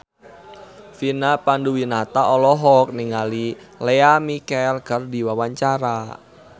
Vina Panduwinata olohok ningali Lea Michele keur diwawancara